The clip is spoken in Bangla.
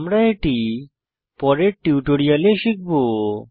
আমরা এটি পরের টিউটোরিয়ালে শিখব